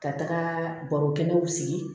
Ka taga baro kɛnɛw sigi